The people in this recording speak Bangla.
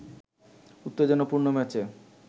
উত্তেজনাপূর্ণ ম্যাচে